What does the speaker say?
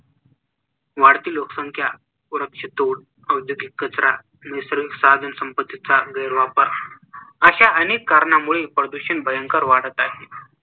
वाढती लोकसंख्या, वृक्षतोड, औद्योगिक कचरा, नैसर्गिक साधनसंपत्तीचा गैरवापर अश्या अनेक कारणामुळे प्रदूषण भयंकर वाढत आहे.